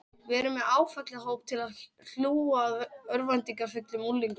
Við erum með áfallahjálp til að hlúa að örvæntingarfullum unglingum